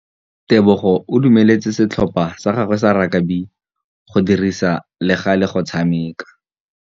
Tebogô o dumeletse setlhopha sa gagwe sa rakabi go dirisa le galê go tshameka.